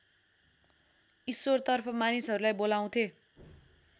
ईश्वरतर्फ मानिसहरूलाई बोलाउँथे